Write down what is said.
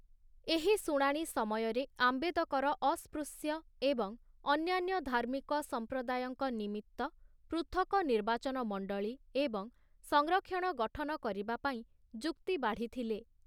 ଏହି ଶୁଣାଣି ସମୟରେ ଆମ୍ବେଦକର ଅସ୍ପୃଶ୍ୟ ଏବଂ ଅନ୍ୟାନ୍ୟ ଧାର୍ମିକ ସମ୍ପ୍ରଦାୟଙ୍କ ନିମିତ୍ତ ପୃଥକ ନିର୍ବାଚନ ମଣ୍ଡଳୀ ଏବଂ ସଂରକ୍ଷଣ ଗଠନ କରିବାପାଇଁ ଯୁକ୍ତି ବାଢ଼ିଥିଲେ ।